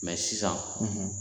sisan